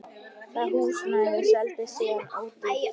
Það húsnæði seldist síðan ódýrt.